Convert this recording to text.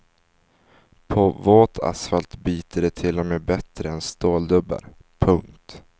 På våt asfalt biter de till och med bättre än ståldubbar. punkt